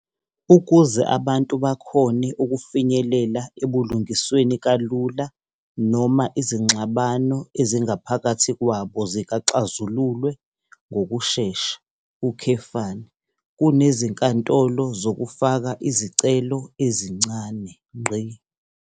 Ukuze abantu bakhone ukufinyelela ebulungisweni kalula noma izinxabano ezingaphakathi kwabo zixazululwe ngokushesha, kunezinkantolo zokufaka izicelo ezincane.